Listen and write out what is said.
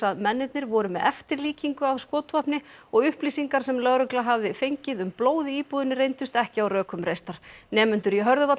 mennirnir voru með eftirlíkingu af skotvopni og upplýsingar sem lögregla hafði fengið um blóð í íbúðinni reyndust ekki á rökum reistar nemendur í